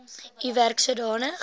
u werk sodanig